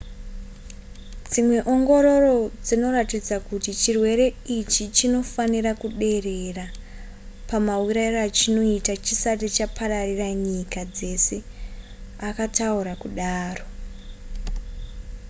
dzimwe ongororo dzinoratidza kuti chirwere ichi chinofanira kuderera pamaurayiro achinoita chisati chapararira nyika dzese akataura kudaro